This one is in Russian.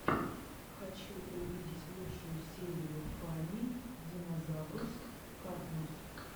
хочу увидеть лучшую серию фанни динозаврус картунс